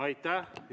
Aitäh!